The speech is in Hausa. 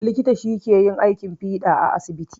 Likita shi ke yin aikin fiɗa a asibiti